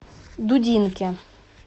дудинке